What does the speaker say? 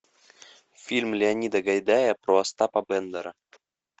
фильм леонида гайдая про остапа бендера